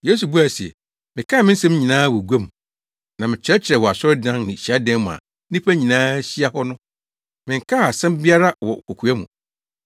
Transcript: Yesu buae se, “Mekaa me nsɛm nyinaa wɔ gua mu na mekyerɛkyerɛɛ wɔ asɔredan ne hyiadan mu a nnipa nyinaa hyia hɔ no. Menkaa asɛm biara wɔ kokoa mu.